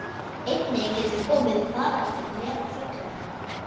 Einnig getur komið upp faraldur meðal fullorðinna.